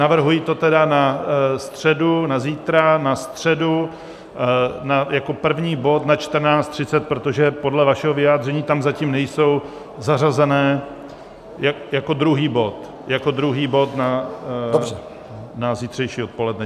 Navrhuji to tedy na středu, na zítra, na středu jako první bod na 14.30, protože podle vašeho vyjádření tam zatím nejsou zařazeny - jako druhý bod, jako druhý bod na zítřejší odpoledne.